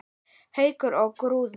Haukur og Guðrún.